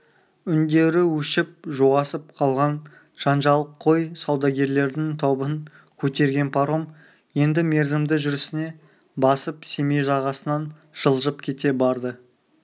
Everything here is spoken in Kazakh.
үндері өшіп жуасып қалған жанжалқой саудагерлердің тобын көтерген паром енді мерзімді жүрісіне басып семей жағасынан жылжып кете барды